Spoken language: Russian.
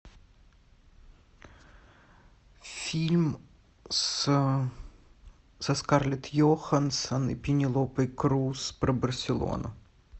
фильм с со скарлетт йоханссон и пенелопой крус про барселону